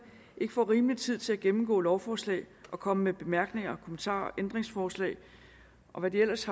ikke får en rimelig tid til at gennemgå lovforslagene og komme med deres bemærkninger kommentarer ændringsforslag og hvad der ellers